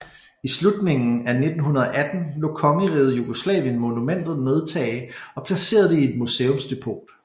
I slutningen af 1918 lod kongeriget Jugoslavien monumentet nedtage og placerede det i et museumsdepot